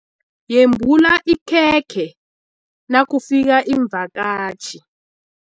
Yembula ikhekhe nakufika iimvakatjhi.